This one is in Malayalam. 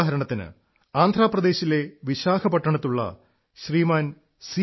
ഉദാഹരണത്തിന് ആന്ധ്ര പ്രദേശിലെ വിശാഖപട്ടണത്തുള്ള ശ്രീമാൻ സി